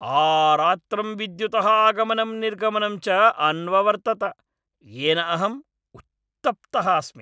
आरात्रं विद्युतः आगमनं निर्गमनं च अन्ववर्तत, येन अहम् उत्तप्तः अस्मि।